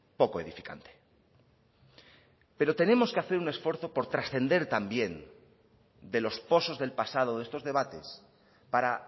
poco edificante pero tenemos que hacer un esfuerzo por trascender también de los posos del pasado de estos debates para